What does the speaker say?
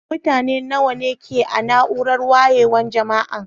Mutane nawa ne ke a' naúrar wayewan Jama'an?